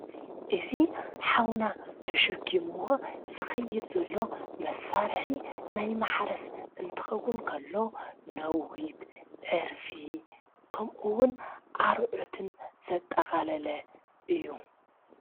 እዙ ኃውና ተሸኪምዎ ዝኽይድ ዘሎ መሣርሒ ናይ መሓረስ እንትኸውን ከሎ ናዊት ዕርፊ ከምኡውን ኣርዑትን ዘጠቓለለ እዩ።